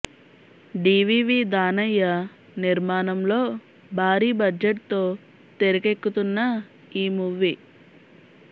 DVV Danayya నిర్మాణం లో భారీ బడ్జెట్ తో తెరకెక్కుతున్న ఈ మూవీ